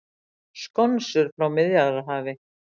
Skonsur frá Miðjarðarhafi